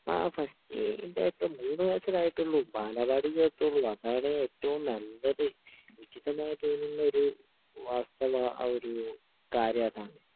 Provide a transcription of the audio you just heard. ങാ...ഫസ്റ്റ്...ഇല്ലാ ഇപ്പൊ മൂന്ന് വയസ്സല്ലേ ആയിട്ടുള്ളൂ...ബാലവാടി ചേർത്തോളൂ...അതാണ് ഏറ്റവും നല്ലത്. ഉചിതമായി തോന്നുന്ന ഒരു വാസ്തവ...കാര്യമതാണ്